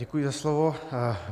Děkuji za slovo.